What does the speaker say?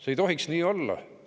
See ei tohiks nii olla.